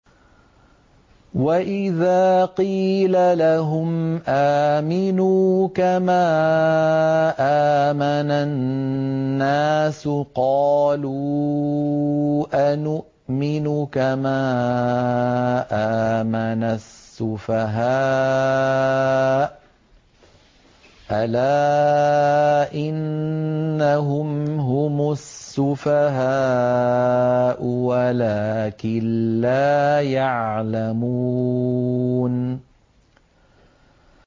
وَإِذَا قِيلَ لَهُمْ آمِنُوا كَمَا آمَنَ النَّاسُ قَالُوا أَنُؤْمِنُ كَمَا آمَنَ السُّفَهَاءُ ۗ أَلَا إِنَّهُمْ هُمُ السُّفَهَاءُ وَلَٰكِن لَّا يَعْلَمُونَ